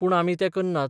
पूण आमी तें करनात.